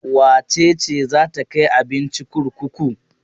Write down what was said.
Wace ce za ta kai abinci kurkuku?